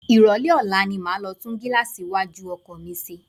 Ìrólé ọ̀la ni máa lọ tún gíláàsì iwájú ọkọ̀ mi ṣe.